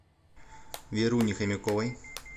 веруне хомяковой